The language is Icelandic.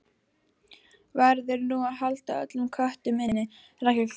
Verður nú að halda öllum köttum inni?